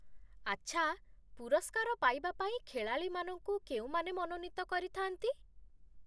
ଆଚ୍ଛା, ପୁରସ୍କାର ପାଇବା ପାଇଁ ଖେଳାଳିମାନଙ୍କୁ କେଉଁମାନେ ମନୋନୀତ କରିଥାନ୍ତି?